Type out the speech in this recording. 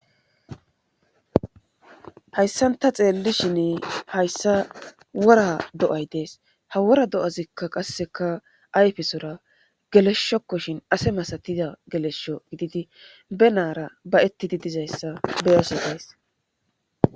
hayssanta xeellishin hayssa wora do7ay dees ha wora do7azikka qasseka ayfesora geleshshokkoshin ase masatida gelesho gididi be naara ba ettidi dizayssa beyaso days